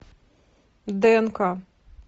днк